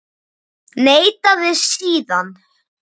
Neitaði síðan.